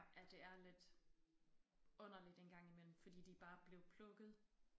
At det er lidt underligt engang imellem fordi de bare blev plukket